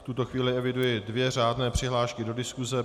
V tuto chvíli eviduji dvě řádné přihlášky do diskuse.